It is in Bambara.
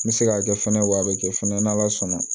N bɛ se k'a kɛ fɛnɛ wa a bɛ kɛ fɛnɛ n ala sɔnna